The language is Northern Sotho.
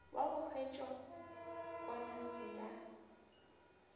wa go hwettša ponase ya